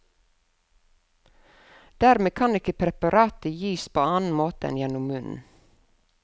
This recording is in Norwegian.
Dermed kan ikke preparatet gis på annen måte enn gjennom munnen.